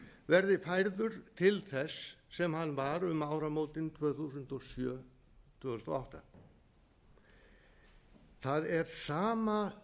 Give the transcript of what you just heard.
verði færður til þess sem hann var um áramótin tvö þúsund og sjö tvö þúsund og átta það er sama